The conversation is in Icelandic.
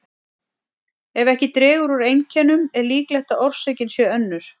Ef ekki dregur úr einkennum er líklegt að orsökin sé önnur.